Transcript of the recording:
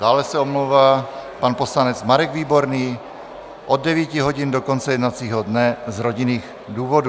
Dále se omlouvá pan poslanec Marek Výborný od 9 hodin do konce jednacího dne z rodinných důvodů.